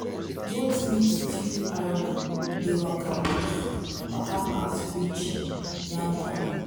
goat meat stew aroma dey waka pass waka pass reach yam corner.